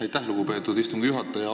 Aitäh, lugupeetud istungi juhataja!